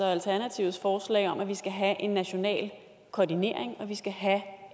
og alternativets forslag om at vi skal have en national koordinering og vi skal have